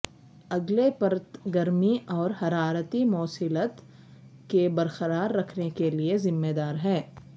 اگلے پرت گرمی اور حرارتی موصلیت کے برقرار رکھنے کے لئے ذمہ دار ہے